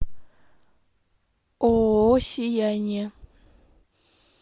ооо сияние